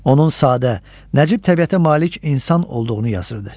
Onun sadə, nəcib təbiətə malik insan olduğunu yazırdı.